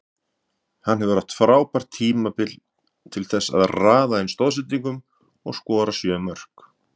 Hann hefur átt frábært tímabil til þessa og raðað inn stoðsendingum og skorað sjö mörk.